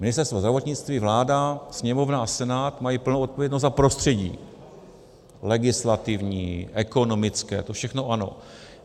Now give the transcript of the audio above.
Ministerstvo zdravotnictví, vláda, Sněmovna a Senát mají plnou odpovědnost za prostředí legislativní, ekonomické, to všechno ano.